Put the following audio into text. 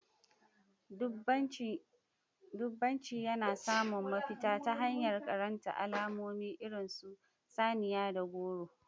Dubbanci yana samun mafita ta hanyar karanta alamomi irin su saniya da goro.